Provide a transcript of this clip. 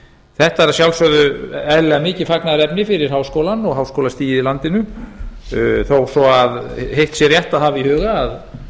þetta er að sjálfsögðu eðlilega mikið fagnaðarefni fyrir háskólann og háskólastigið í landinu þó svo að hitt sé rétt að hafa í huga að